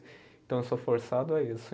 Então eu sou forçado a isso.